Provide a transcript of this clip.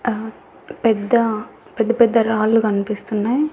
ఆహ్ పెద్ద పెద్ద పెద్ద రాళ్ళు కనిపిస్తున్నాయ్.